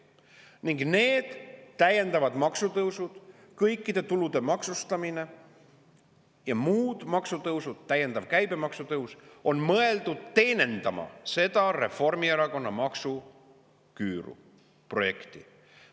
Ning need täiendavad maksutõusud, kõikide tulude maksustamine ja muud maksutõusud, täiendav käibemaksu tõus, on mõeldud teenindama Reformierakonna maksuküüru projekti.